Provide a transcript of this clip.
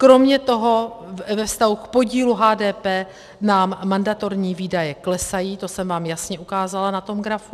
Kromě toho ve vztahu k podílu HDP nám mandatorní výdaje klesají, to jsem vám jasně ukázala na tom grafu.